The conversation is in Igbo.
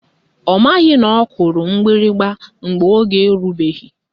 Ọ maghị na ọ kụrụ mgbịrịgba mgbe oge erubeghị